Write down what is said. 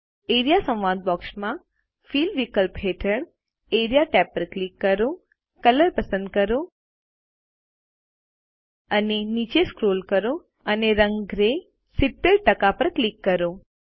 A R E A સંવાદ box માં fill વિકલ્પ હેઠળ એઆરઇએ ટેબ પર ક્લિક કરો કલર પસંદ કરો અને નીચે સ્ક્રોલ કરો અને રંગ ગ્રે 70 પર ક્લિક કરો